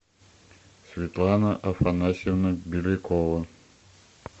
светлана афанасьевна белякова